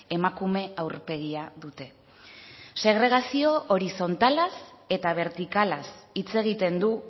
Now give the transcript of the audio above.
emakume aurpegia dute segregazio horizontalaz eta bertikalaz hitz egiten du